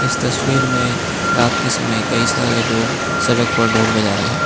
इस तस्वीर में रात के समय कई सारे लोग सड़क पर ढोल बजा रहे हैं।